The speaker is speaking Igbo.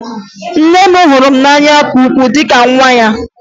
Nne m hụrụ m n'anya nke ukwuu dị ka nwa ya